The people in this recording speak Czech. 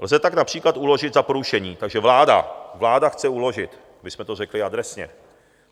Lze tak například uložit za porušení... takže vláda, vláda chce uložit, abychom to řekli adresně.